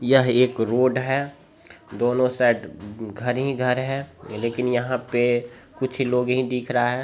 यह एक रोड है दोनों साइड घर ही घर है लेकीन यहाँ पे कुछ ही लोग ही दिख रहा है।